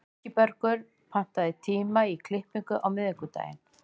Ingibergur, pantaðu tíma í klippingu á miðvikudaginn.